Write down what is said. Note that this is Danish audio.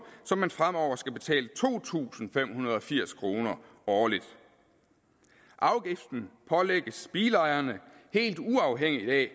så man fremover skal betale to tusind fem hundrede og firs kroner årligt afgiften pålægges bilejerne helt uafhængigt af